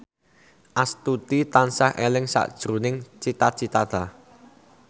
Astuti tansah eling sakjroning Cita Citata